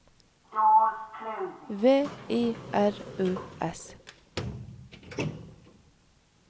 V I R U S